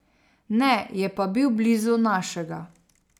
Ne, je pa bil blizu našega.